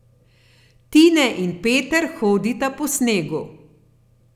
Tine in Peter hodita po snegu.